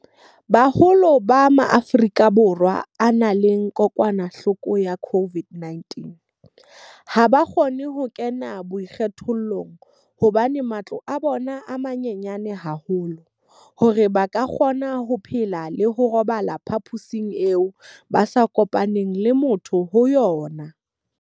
Boholo ba Maafrika Borwa a nang le kokwanahloko ya corona COVID-19ha ba kgone ho kena boikgethollong hobane matlo a bona a manyenyana haholo hore ba ka kgona ho phela le ho robala ka phaposing eo ba sa e kopanelang le motho e mong.